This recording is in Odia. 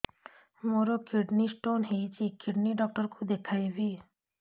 ମୋର କିଡନୀ ସ୍ଟୋନ୍ ହେଇଛି କିଡନୀ ଡକ୍ଟର କୁ ଦେଖାଇବି